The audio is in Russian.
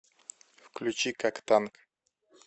включи как танк